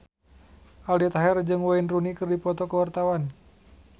Aldi Taher jeung Wayne Rooney keur dipoto ku wartawan